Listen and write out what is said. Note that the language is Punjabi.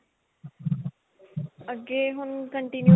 ਅੱਗੇ ਹੁਣ continue